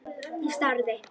Ég starði.